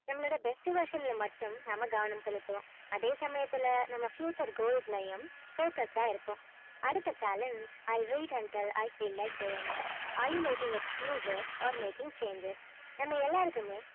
நம்மலோடைய best version ல மட்டும் நம்ம கவனம் செலுத்துவோம் அதே சமயத்துல நம்ம future ளையும் focused ஆ இருப்போம் அடுத்த challenge i wait and tell i feel like doing it are you making a few thus are making changes நம்ம எல்லாருக்குமே